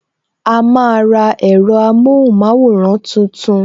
A máa ra ẹ̀rọ amóhùn maworan tuntun